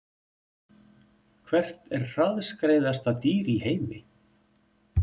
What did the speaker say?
Hvert er hraðskreiðasta dýr í heimi?